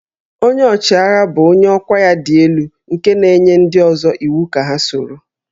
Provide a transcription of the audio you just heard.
Onye ọchịagha bụ onye ọkwá ya dị elu nke na-enye ndị ọzọ iwu ka ha soro